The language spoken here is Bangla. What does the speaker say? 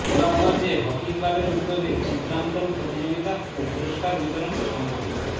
গোলাপগঞ্জে হকি ক্লাবের উদ্যোগে চিত্রাংকন প্রতিযোগিতা ও পুরস্কার বিতরণ সম্পন্ন